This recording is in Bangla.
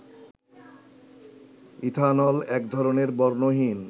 ইথানল একধরনের বর্ণহীন